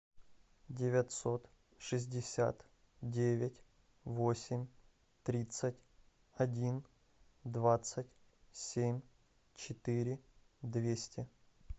девятьсот шестьдесят девять восемь тридцать один двадцать семь четыре двести